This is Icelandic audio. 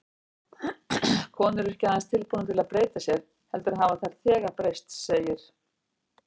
Konur eru ekki aðeins tilbúnar til að breyta sér, heldur hafa þær þegar breyst, segir